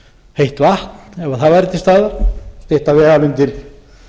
heitt vatn ef það væri til staðar miklar vegalengdir